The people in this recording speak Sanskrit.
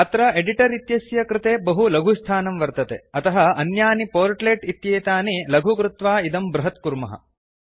अत्र एडिटर् इत्यस्य कृते बहु लघुस्थानं वर्तते अतः अन्यानि पोर्ट्लेट् इत्येतानि लघु कृत्वा इदं बृहत्कुर्मः